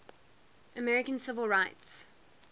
american civil rights